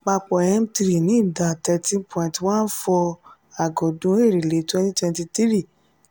papọ m three ní ìdá thirteen point one four percent àgọọdun èrèlé twenty twenty three